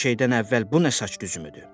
Hər şeydən əvvəl bu nə saç düzümüdür?